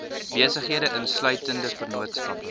besighede insluitende vennootskappe